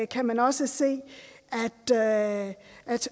kan også se at